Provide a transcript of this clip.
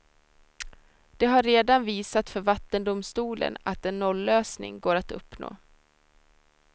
Det har redan visat för vattendomstolen att en nollösning går att uppnå.